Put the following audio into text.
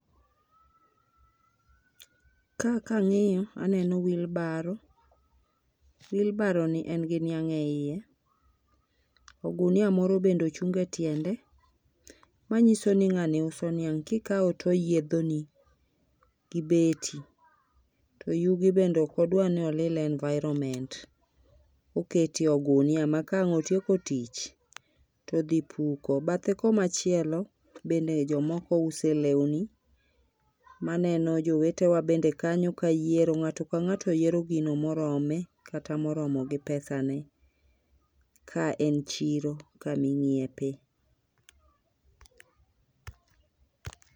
Ka kangiyo aneno wheelbarrow, wheelbarrow ni en gi niang e iye, ognia moro be ochung e tiende manyiso ni ngani uso niang. kikaw to oyiedhoni gi beti to yugi bend eok odwa ni olil environment, oketo e ogunia ma kotieko tic todhi puko. Bathe komachielo bende jomoko use lewni maneno jowetewa bende kanyo kayiero ,ngato ka ngato yiero gno morome kata moromo gi pesane. Ka en chiero kama inyiepe